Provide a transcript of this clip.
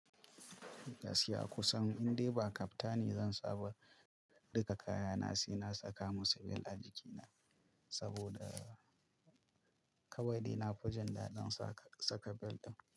Gaskiya kusan in dai ba kaftani, zan saba duka kayana sai na saka musu bel a jikina, saboda kawai dai na fi jin daɗin sa saka bel ɗin.